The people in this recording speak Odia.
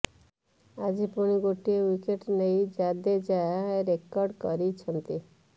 ଆଜି ପୁଣି ଗୋଟିଏ ୱିକେଟ୍ ନେଇ ଜାଦେଜା ରେକର୍ଡ କରିଛନ୍ତି